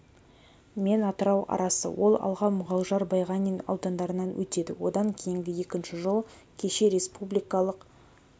мен атырау арасы ол алға мұғалжар байғанин аудандарынан өтеді одан кейінгі екінші жол кеше республикалық